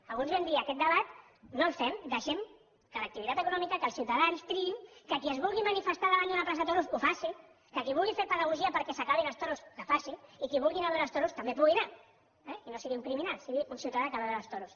alguns vam dir aquest debat no el fem deixem que l’activitat econòmica que els ciutadans triïn que qui es vulgui manifestar davant d’una plaça de toros ho faci que qui vulgui fer pedagogia perquè s’acabin els toros la faci i que qui vulgui anar a veure els toros també hi pugui anar eh i no sigui un criminal sigui un ciutadà que va a veure els toros